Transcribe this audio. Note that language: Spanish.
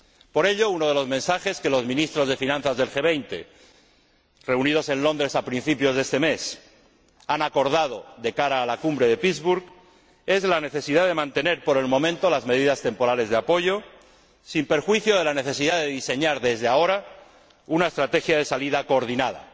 Por ello, uno de los mensajes que los Ministros de Finanzas del G 20, reunidos en Londres a principios de este mes, han acordado de cara a la Cumbre de Pittsburg es la necesidad de mantener por el momento las medidas temporales de apoyo, sin perjuicio de la necesidad de diseñar desde ahora una estrategia de salida coordinada.